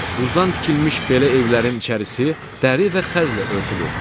Buzdan tikilmiş belə evlərin içərisi dəri və xəzlə örtülür.